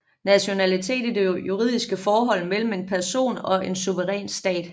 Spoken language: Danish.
Nationalitet er det juridiske forhold mellem en person og en suveræn stat